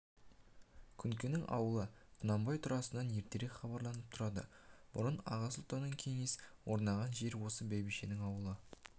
күнкенің аулы құнанбай турасынан ертерек хабарланып тұрады бұрын аға сұлтанның кеңесі орнаған жер осы бәйбішенің аулы